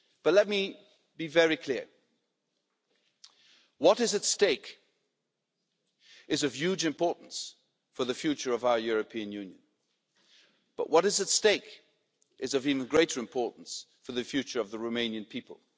Let me be very clear what is at stake is of huge importance for the future of our European Union, but what is at stake is of even greater importance for the future of the Romanian people.